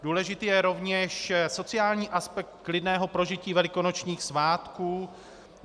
Důležitý je rovněž sociální aspekt klidného prožití velikonočních svátků.